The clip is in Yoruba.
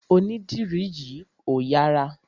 Onídìrí yìí ò yára.